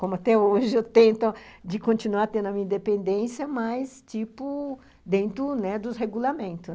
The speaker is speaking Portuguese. Como até hoje eu tento continuar tendo a minha independência, mas, tipo, dentro, né, dos regulamentos.